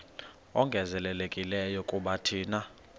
ongezelelekileyo kuba thina